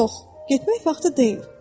Yox, getmək vaxtı deyil.